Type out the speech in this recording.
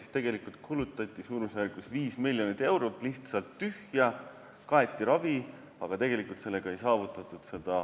Seega kulutati 5 miljonit eurot lihtsalt tühja, kaeti ravi, aga tervenemisprotsessi sellega ei saavutatud.